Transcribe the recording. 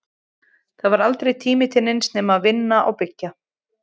Það var aldrei tími til neins nema að vinna og byggja.